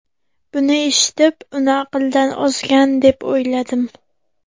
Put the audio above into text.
Buni eshitib, uni aqldan ozgan, deb o‘yladim.